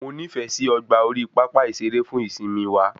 Mo nifẹ sí ọgbà orí pápá ìsere fún ìsimi wa